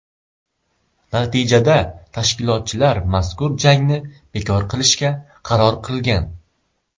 Natijada tashkilotchilar mazkur jangni bekor qilishga qaror qilgan.